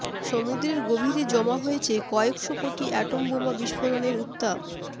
সমুদ্রের গভীরে জমা হয়েছে কয়েকশো কোটি অ্যাটম বোমা বিস্ফোরণের উত্তাপ